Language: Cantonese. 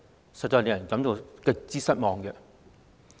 這實在令人感到極度失望。